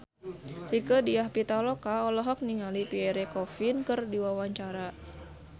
Rieke Diah Pitaloka olohok ningali Pierre Coffin keur diwawancara